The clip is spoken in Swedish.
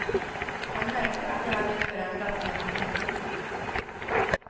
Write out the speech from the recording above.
Han märkte att jag hade förändrats när jag kom hem.